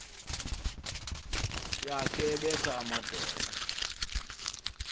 yakhe ebetha amadoda